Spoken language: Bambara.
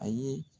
A ye